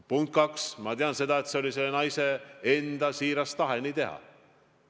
Punkt kaks, ma tean, et see oli selle naise enda siiras tahe nii teha.